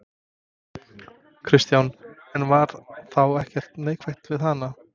Kristján: En var þá ekkert neikvætt við hana?